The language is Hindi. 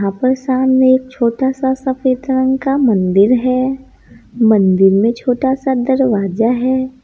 यहां पर सामने एक छोटा सा सफेद रंग का मंदिर है मंदिर में छोटा सा दरवाजा है।